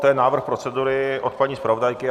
To je návrh procedury od paní zpravodajky.